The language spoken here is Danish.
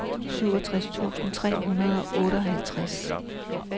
syvogtres tusind tre hundrede og otteoghalvtreds